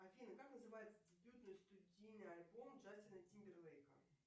афина как называется дебютный студийный альбом джастина тимберлейка